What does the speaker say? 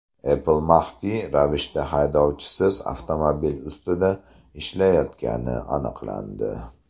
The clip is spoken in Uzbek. Apple maxfiy ravishda haydovchisiz avtomobil ustida ishlayotgani aniqlandi.